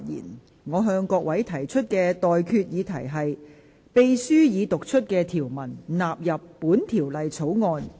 我現在向各位提出的待決議題是：秘書已讀出的條文納入本條例草案。